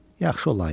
Yaxşı olan idi.